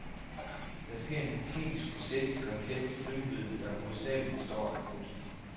Der sker en kemisk proces i rakettens drivmiddel, der hovedsageligt består af krudt.